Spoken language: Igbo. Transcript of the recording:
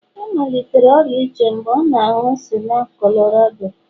ọ malitere ọrịa uche mgbe ọ na-aṅụ sịga Colorado